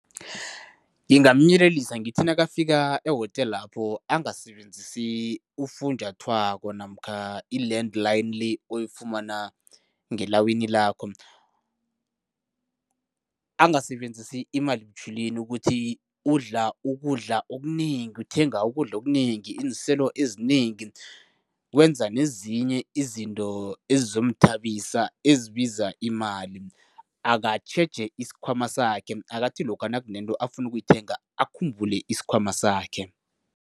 Ngingamyelelisa ngithi nakafika ehotelapho angasebenzisi ufunjathwako namkha i-land line le oyifumana ngelawini lakho. Angasebenzisi imali butjhwileni ukuthi udla ukudla okunengi, uthenga ukudla okunengi, iinselo ezinengi, wenza nezinye izinto ezizomthabisa, ezibiza imali. Akatjheje isikhwama sakhe, akathi lokha nakunento afuna ukuyithenga ukhumbule isikhwama sakhe.